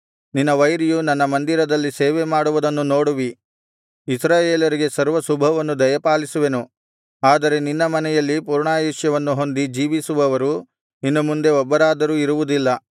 ನಿನ್ನ ವೈರಿಯು ನನ್ನ ಮಂದಿರದಲ್ಲಿ ಸೇವೆಮಾಡುವುದನ್ನು ನೋಡುವಿ ಇಸ್ರಾಯೇಲರಿಗೆ ಸರ್ವಶುಭವನ್ನು ದಯಪಾಲಿಸುವೆನು ಆದರೆ ನಿನ್ನ ಮನೆಯಲ್ಲಿ ಪೂರ್ಣಾಯುಷ್ಯವನ್ನು ಹೊಂದಿ ಜೀವಿಸುವವರು ಇನ್ನು ಮುಂದೆ ಒಬ್ಬರಾದರು ಇರುವುದಿಲ್ಲ